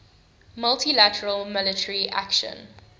multi lateral military action